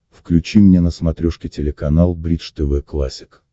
включи мне на смотрешке телеканал бридж тв классик